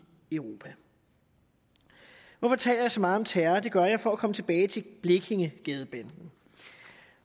europa hvorfor taler jeg så meget om terror det gør jeg for at komme tilbage til blekingegadebanden